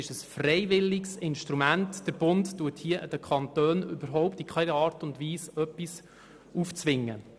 Es handelt sich um ein freiwilliges Instrument, und der Bund zwingt hier den Kantonen in keiner Art und Weise etwas auf.